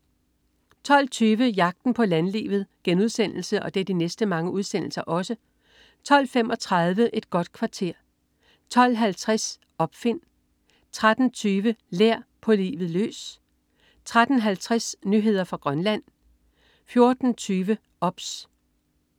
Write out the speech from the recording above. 12.20 Jagten på landlivet* 12.35 Et godt kvarter* 12.50 Opfind* 13.20 Lær. På livet løs* 13.50 Nyheder fra Grønland* 14.20 OBS*